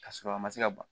Ka sɔrɔ a ma se ka ban